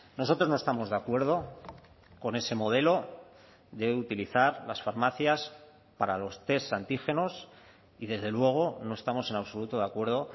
nosotros no estamos de acuerdo con ese modelo de utilizar las farmacias para los test antígenos y desde luego no estamos en absoluto de acuerdo